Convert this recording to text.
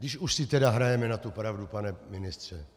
Když už si tedy hrajeme na tu pravdu, pane ministře.